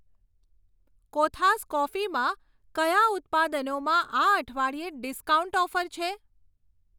કોથાસ કોફીમાં કયા ઉત્પાદનોમાં આ અઠવાડિયે ડિસ્કાઉન્ટ ઓફર છે?